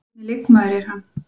Hvernig leikmaður er hann?